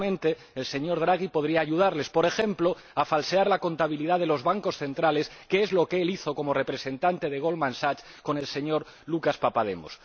Seguramente el señor Draghi podría ayudarles, por ejemplo, a falsear la contabilidad de los Bancos Centrales, que es lo que él hizo como representante de Goldman Sachs junto con Lucas Papademos.